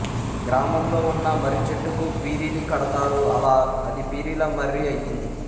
గ్రామంలో ఉన్న మర్రి చెట్టుకు పీరీలు కడతారు అలా అది పీరీల మర్రి అయ్యింది